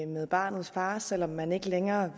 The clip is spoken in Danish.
med barnets far selv om man ikke længere